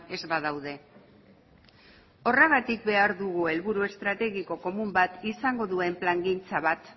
ez badaude horregatik behar dugu helburu estrategiko komun bat izango duen plangintza bat